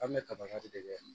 An bɛ kaba de kɛ